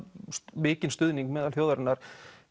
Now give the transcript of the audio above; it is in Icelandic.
mikinn stuðning meðal þjóðarinnar